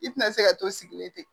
I tina se ka to sigilen ten